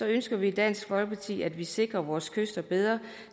ønsker vi i dansk folkeparti at vi sikrer vores kyster bedre